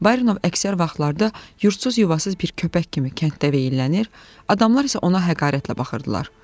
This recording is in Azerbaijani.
Barinov əksər vaxtlarda yurdsuz-yuvasız bir köpək kimi kənddə veyllənir, adamlar isə ona həqarətlə baxırdılar.